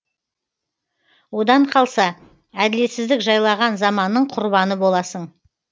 одан қалса әділетсіздік жайлаған заманның құрбаны боласың